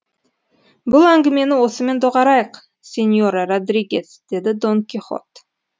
бұл әңгімені осымен доғарайық сеньора родригес деді дон кихот